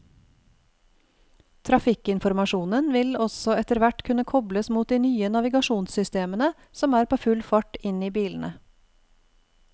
Trafikkinformasjonen vil også etterhvert kunne kobles mot de nye navigasjonssystemene som er på full fart inn i bilene.